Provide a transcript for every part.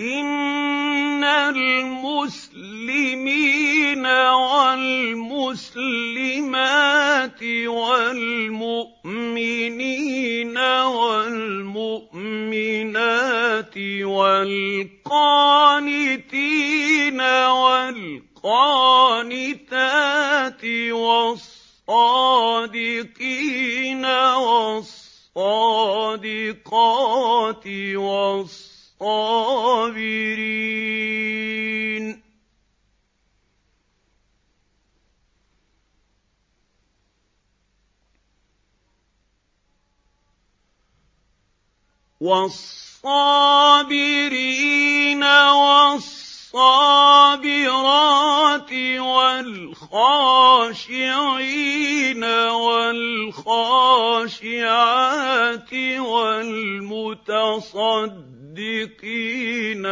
إِنَّ الْمُسْلِمِينَ وَالْمُسْلِمَاتِ وَالْمُؤْمِنِينَ وَالْمُؤْمِنَاتِ وَالْقَانِتِينَ وَالْقَانِتَاتِ وَالصَّادِقِينَ وَالصَّادِقَاتِ وَالصَّابِرِينَ وَالصَّابِرَاتِ وَالْخَاشِعِينَ وَالْخَاشِعَاتِ وَالْمُتَصَدِّقِينَ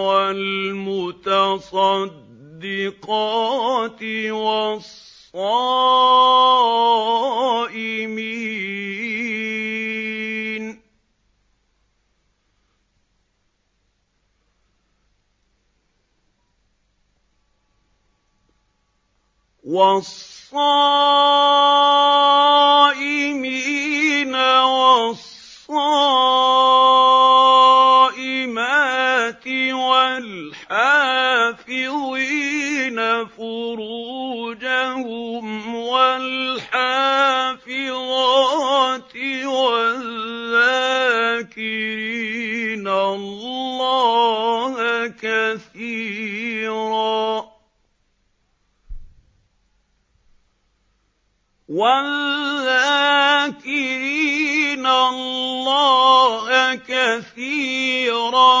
وَالْمُتَصَدِّقَاتِ وَالصَّائِمِينَ وَالصَّائِمَاتِ وَالْحَافِظِينَ فُرُوجَهُمْ وَالْحَافِظَاتِ وَالذَّاكِرِينَ اللَّهَ كَثِيرًا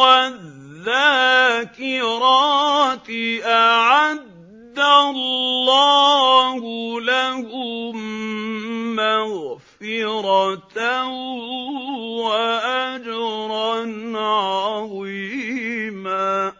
وَالذَّاكِرَاتِ أَعَدَّ اللَّهُ لَهُم مَّغْفِرَةً وَأَجْرًا عَظِيمًا